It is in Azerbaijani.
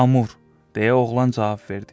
Amur, deyə oğlan cavab verdi.